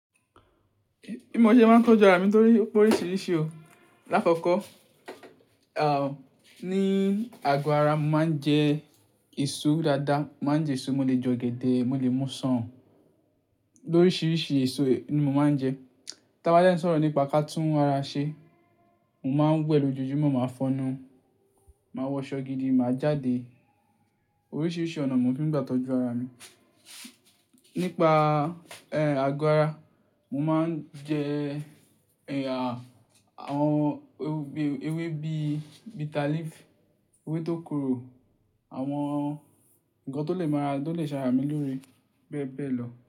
Bí mo ṣe máa ń tọ́jú ara mi torí ó pé oríṣiríṣi o. Láàfákọ́, à, ní àgọ ara màá ń jẹ èso dáadáa, màá ń jẹ èso, mo lè jẹ ọ̀gẹ̀dẹ̀, mo lè mú Ṣọ́ọ̀ù, lóríṣiríṣi èso ni mo máa ń jẹ. Tí a bá dẹ́ n sọ̀rọ̀ nípa kàtún ara ṣe, mo máa ń wẹ lójoojúmọ́, màá fọnu, màá wọṣọ gidi, màá jáde. Oríṣiríṣi ọ̀nà mi ò fi gbà tọ́jú ara mi. Nípa, ẹ, àgọ́ ara, mo máa ń jẹ, ẹ ya, àwọn ewé bí bitter leaf, ewé tó korò, àwọn nǹkan tó lè máa, tó lè ṣàrà mí lóore bẹ́ẹ̀ bẹ́ẹ̀ lọ.